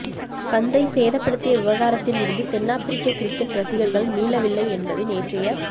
பந்தை சேதப்படுத்திய விவகாரத்தில் இருந்து தென்னாப்பிரிக்க கிரிக்கெட் ரசிகர்கள் மீளவில்லை என்பது நேற்றைய